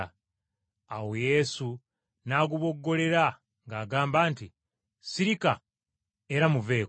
Awo Yesu n’aguboggolera ng’agamba nti, “Sirika era muveeko.”